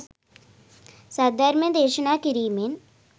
සද්ධර්මය දේශනා කිරීමෙන්